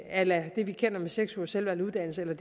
a la det vi kender med seks ugers selvvalgt uddannelse eller